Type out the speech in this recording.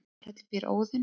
í valhöll býr óðinn